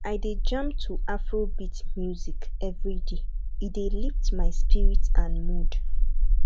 i dey jam to afrobeat music every day e dey lift my spirit and mood